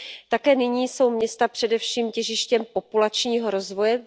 Také nyní jsou města především těžištěm populačního rozvoje.